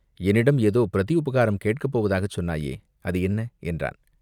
என்னிடம் ஏதோ பிரதி உபகாரம் கேட்கப் போவதாகச் சொன்னாயே, அது என்ன?" என்றான்.